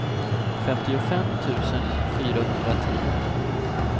femtiofem tusen fyrahundratio